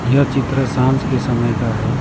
यह चित्र सांझ के समय का है।